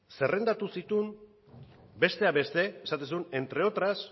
zerrendatu zituen besteak beste esaten zuen entre otras